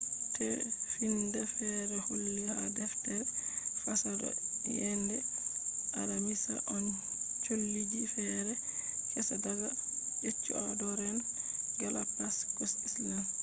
tefinda feere holli ha deftere fasaha do yende alamisa on cholliji feere kesa daga ecuadorean galapagos islands.